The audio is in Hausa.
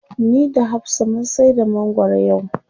Ni da hafsa mun saida mangwaro yau.